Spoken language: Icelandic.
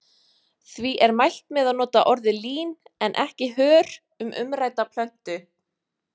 Því er mælt með að nota orðið lín en ekki hör um umrædda plöntu.